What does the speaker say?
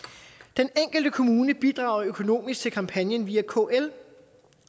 den enkelte kommune bidrager økonomisk til kampagnen via kl